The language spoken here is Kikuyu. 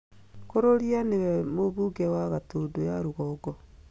Kũrũria nĩwe mũbunge wa Gatũndũ ya rũgongo